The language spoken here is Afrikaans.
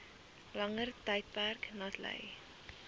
langer tydperk natlei